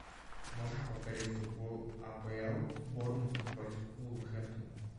можешь повторить футбол апл борнмут против вулверхэмптона